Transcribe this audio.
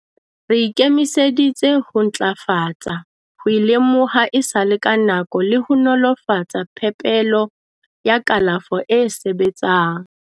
"Re ikemiseditse ho ntlafatsa ho e lemoha esale ka nako le ho nolofatsa phepelo ya kalafo e sebetsang."